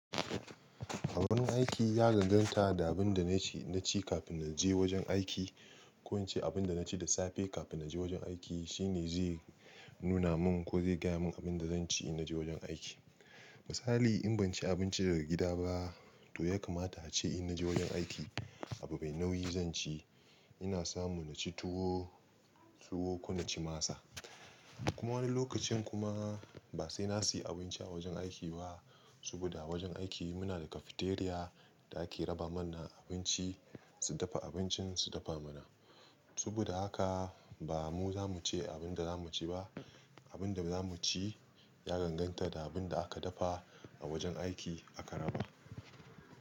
Abun aiki ya ganganta da abin da na ci, na ci kafin na je wajen aiki. Ko in ce abin da na ci da safe kafin na je wajen aiki shine zai nuna mun ko zai gaya mun abin da zan ci in na je wajen aiki. Misali in ban ci abinci daga gida ba to ya kamata a ce in na je wajen aiki abu mai nauyi zan ci. Ina samu na ci tuwo, tuwo ko na ci masa. Kuma wani lokacin kuma ba sai na siyi abinci a wajen aiki ba saboda a wajen aiki muna da cafeteria da ake raba mana abinci, su dafa abincin su dafa mana. Saboda haka ba mu zamu ci abin da zamu ci ba. Abin da zamu ci ya ganganta da abin da aka dafa a wajen aiki aka raba.